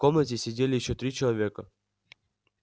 в комнате сидели ещё три человека